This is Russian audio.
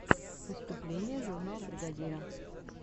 выступление журнал бригадира